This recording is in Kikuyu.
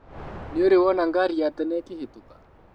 Nĩũrĩ wona ngari ya tene ĩkĩhĩtũka?